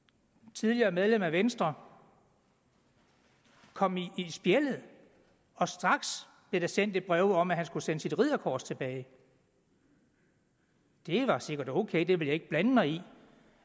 tidligere medlem af venstre kom i spjældet og straks blev der sendt et brev om at han skulle sende sit ridderkors tilbage det var sikkert ok det vil jeg ikke blande mig i